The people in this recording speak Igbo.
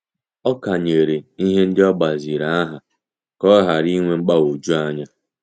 Ọ kanyere ihe ndị o gbaziri aha ka ọ ghara inwe mgbagwoju anya.